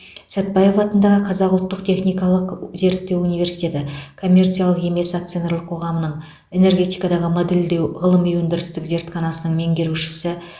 сәтбаев атындағы қазақ ұлттық техникалық зерттеу университеті коммерциялық емес акционерлік қоғамының энергетикадағы модельдеу ғылыми өндірістік зертханасының меңгерушісі